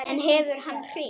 En hefur hann hringt?